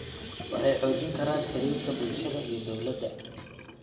Waxay xoojin karaan xidhiidhka bulshada iyo dawladda.